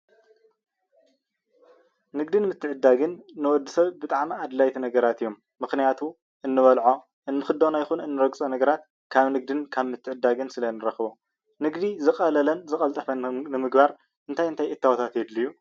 ንግደን ምትዕድዳግን ንወዲ ሰብ ብጣዕሚ ኣድለይቲ ነገራት እዮም ምክንያቱም እንበልዖ እንክደኖን ይኩን እንረግፆ ነገራት ካብ ንግድእን ምትዕድዳግን ስለ ንረክቦ ንግዲ ዝቀለለ ዝቀልጠፈ ንምግባር እንታይ እንታይ እታወታት የድልዩ?